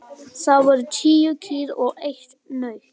Það voru tíu kýr og eitt naut.